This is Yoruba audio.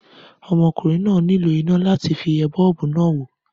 Ọmọkùnrin náà nílò iná láti fi ẹ bọ́ọ́bú náà wò.